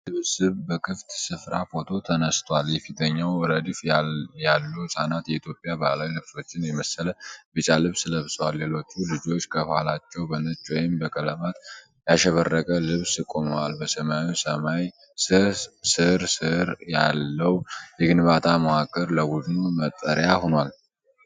የልጆች ስብስብ በክፍት ስፍራ ፎቶ ተነስቷል። የፊተኛው ረድፍ ያሉ ህፃናት የኢትዮጵያ ባህላዊ ልብሶችን የመሰለ ቢጫ ልብስ ለብሰዋል። ሌሎች ልጆች ከኋላቸው በነጭ ወይም በቀለማት ያሸበረቀ ልብስ ቆመዋል። በሰማያዊ ሰማይ ስር ስር ያለው የግንባታ መዋቅር ለቡድኑ መጠለያ ሆኗል።